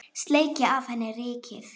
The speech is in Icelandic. Sleikja af henni rykið.